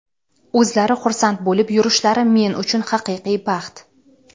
o‘zlari xursand bo‘lib yurishlari men uchun – haqiqiy baxt.